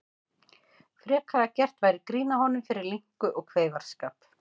Frekar að gert væri grín að honum fyrir linku og kveifarskap.